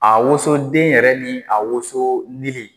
A woso den yɛrɛ ni a woso lili.